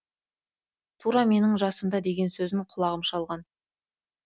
тура менің жасымда деген сөзін құлағым шалған